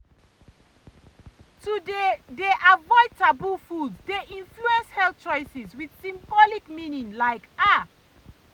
to dey dey avoid taboo foods dey influence health choices with symbolic meaning like ah.